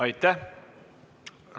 Aitäh!